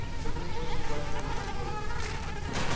у тебя нет больше власти над собой